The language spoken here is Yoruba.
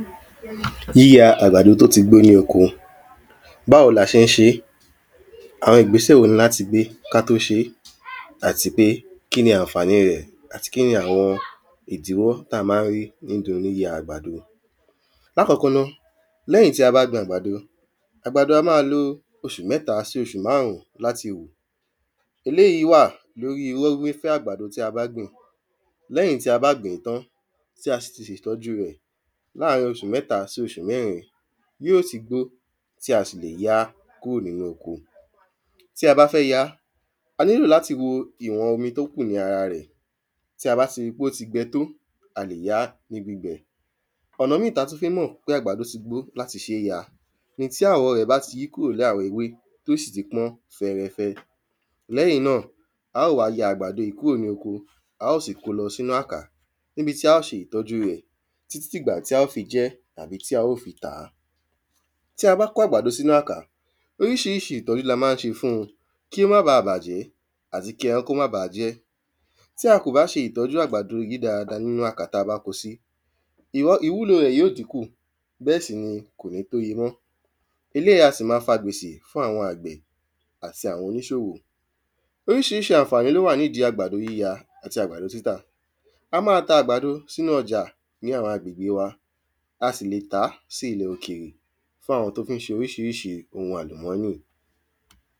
Yíya àgbàdo t’ó ti gbó ní oko Báwo la ṣé ń ṣe? Àwọn ìgbésẹ̀ wo ń l’áti gbé k’á tó ṣé? Àti pé kí ni ànfàní rẹ̀? Àti kí ni àwọn ìdíwọ́ t’a má ń rí nídí oní yíya àgbàdo? L’ákọ́kọ́ ná, l’ẹ́yìn tí a bá gbin àgbàdo, àgbàdo a má lo oṣù mẹ́ta sí márún l’áti wù. Eléyí wà l’órí rọ́ ré fẹ́ àgbàdo tí a bá gbìn. L’ẹ́yìn tí a bá gbin, tí a sì ṣe ìtọ́jú rẹ̀ láàrin oṣù mẹ́ta sí mẹ́rin, yí ió ti gbó tí a sì lè yá kúrò n’ínú oko. Tí a bá fẹ́ yá, a nílò l’áti wo ìwọn omi t’ó kù ní ara rẹ̀. Tí a bá ti ri pé ó ti gbẹ tó, a lè yá kúrò n’íbi bẹ̀. Ọ̀nà tí a tú fí ń mọ̀ pé àgbàdó ti gbó l’áti ṣé ya ni tí àwọ̀ rẹ̀ bá ti yí kúrò l’áwọ̀ ewé t’ó sìti pọ́n fẹrẹfẹ. L’ẹ́yìn náà, a ò wá ya àgbàdó yí kúrò ni oko, á ó sì ko lọ s’ínú àkà. N’íbí tí á ó ṣe ìtọ́jú rẹ̀ tí tí ìgbà t’a ó fi jẹ àbí t’á o fi tàá. Tí a bá ko àgbàdó s’ínú àkà, oríṣiríṣi ìtọ́jú l’a má ń ṣe fun. kí ó ma bàjẹ́ àti kí ẹran ó má ba jẹ́. Tí a ko bá ṣe ìtọ́jú àgbàdó yí dada n’ínú àkà t’a bá ko sí. Ìwúlò rẹ̀ yó dínkù. Bẹ́ẹ̀ sì ni kò ní pé ye mọ́. Eléyí a sì ma fa gbèsè fún àwọn àgbẹ̀ àti àwọn oníṣòwò. Oríṣiríṣi ànfàní l’ó wà n’íbi àgbàdo yíya àti àgbàdob títà. Á má ta àgbàdo s’ínú ọjà ní àwọn agbègbè wa. A sì lè tàá sí ilẹ̀ òkèrè fún àwọn t’ó fí ń ṣe oríṣiríṣi ohun àlùmọ́nì.